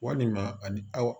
Walima ani